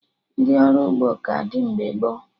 Ndị ọrụ ugbo ka dị mgbe gboo